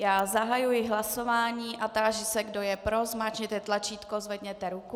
Já zahajuji hlasování a táži se, kdo je pro, zmáčkněte tlačítko, zvedněte ruku.